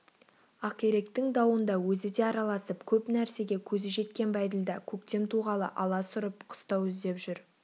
ақиректің дауында өзі де араласып көп нәрсеге көзі жеткен бәйділда көктем туғалы алас ұрып қыстау іздеп жүр